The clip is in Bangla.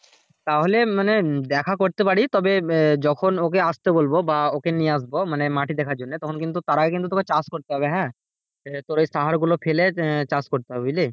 তাহলে মানে দেখা করতে পারি তবে যখন ওকে আসতে বলবো বা ওকে নিয়ে আসবো, মাটি দেখার জন্য তার আগে কিন্তু তবে চাষ করতে হবে হ্যাঁ যে তোর এই সার গুলো ফেলে আহ চাষ করতে হবে বুঝলি?